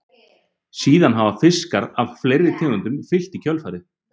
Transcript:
Síðan hafa fiskar af fleiri tegundum fylgt í kjölfarið.